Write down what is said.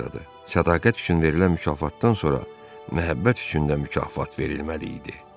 Sədaqət üçün verilən mükafatdan sonra məhəbbət üçün də mükafat verilməli idi.